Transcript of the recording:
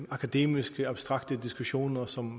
akademiske abstrakte diskussioner som